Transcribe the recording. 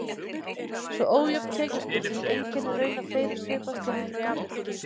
Svo ójöfn tekjuskipting einkennir raunar fleiri svipaðar stéttir í Ameríku.